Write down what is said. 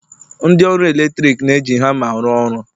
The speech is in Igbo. ndị ọrụ eletrik na-eji hama arụ ọrụ